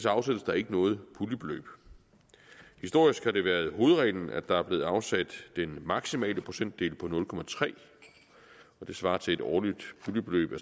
afsættes der ikke noget puljebeløb historisk har det været hovedreglen at der er blevet afsat den maksimale procentdel på nul det svarer til et årligt puljebeløb i